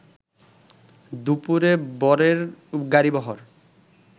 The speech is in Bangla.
দুপুরে বরের গাড়িবহর